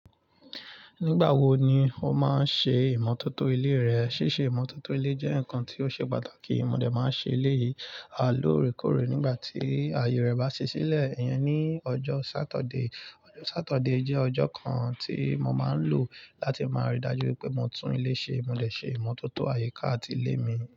Nígbà wo ni o máa ń ṣe ìmọ́tótó ilé rẹ? Síse ìmọ́tótó ilé jẹ́ nǹkan tí ó ṣe pàtàkì. Mo lè máa ṣe eléyìí à lóòrèkóòrè nígbà tí àyè rẹ bá ṣẹ́ sílẹ̀. Ìyẹn ni ọjọ́ Sátọ̀dé. Ọjọ́ Sátọ̀dé jẹ́ ọjọ́ kan tí mo máa ń lò láti máa ríi dájú pé mo tún ilé ṣe. Mo dè ṣe ìmọ́tótó àyíká àti ilé mi.